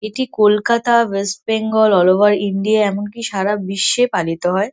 এটি Kolkata West Bengal all over India এমনকি সারা বিশ্বে পালিত হয়--